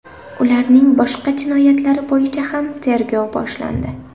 Ularning boshqa jinoyatlari bo‘yicha ham tergov boshlandi .